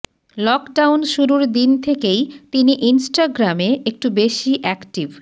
lockdown শুরুর দিন থেকেই তিনি ইনস্টাগ্রামে একটু বেশি অ্যাক্টিভ